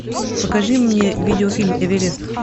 покажи мне видеофильм эверет